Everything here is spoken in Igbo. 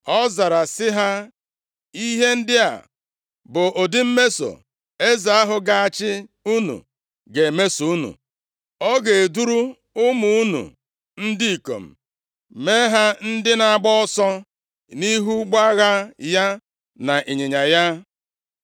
Ọ zara sị ha, “Ihe ndị a bụ ụdị mmeso eze ahụ ga-achị unu ga-emeso unu: Ọ ga-eduru ụmụ unu ndị ikom mee ha ndị na-agba ọsọ nʼihu ụgbọ agha ya na ịnyịnya ya.